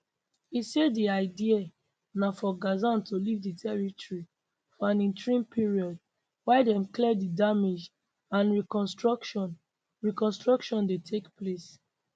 e say di idea na for gazans to leave di territory for an interim period while dem clear di damage and reconstruction reconstruction dey take place